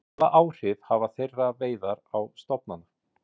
Hvaða áhrif hafa þeirra veiðar á stofnana?